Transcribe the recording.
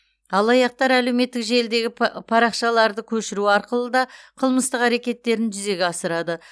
алаяқтар әлеуметтік желідегі па парақшаларды көшіру арқылы да қылмыстық әрекеттерін жүзеге асырады